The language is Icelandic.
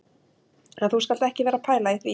En þú skalt ekki vera að pæla í því